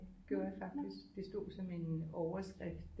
Det gjorde jeg faktisk det stod som en overskrift